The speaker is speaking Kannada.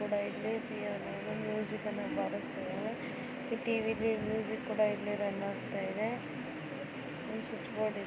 ಇಲ್ಲಿ ಪಿಯಾನೋನಲ್ಲಿ ಮ್ಯೂಸಿಕ್ ಬರಸ್ತಾ ಇದಾಳೆ ಟಿವಿಲಿ ಮ್ಯೂಸಿಕ್ ರನ್ ಆಗ್ತಾ ಇದೆ ಸ್ವಿಚ್ ಬೋರ್ಡ್ ಇದೆ.